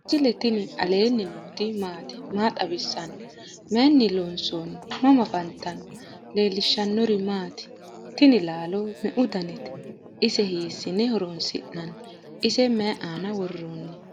misile tini alenni nooti maati? maa xawissanno? Maayinni loonisoonni? mama affanttanno? leelishanori maati? tiini lalo meu daanite? ise hisine horonsi'nani? ise mayi aana woronni